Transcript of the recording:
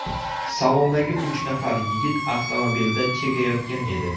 Salondagi uch nafar yigit avtomobilda chekayotgan edi.